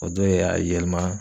O dɔ y'a yɛlma